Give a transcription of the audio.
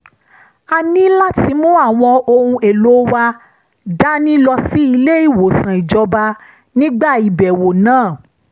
a ní láti mú àwọn ohun èlò wa dání lọ sí ilé-ìwòsàn ìjọba nígbà ìbẹ̀wò náà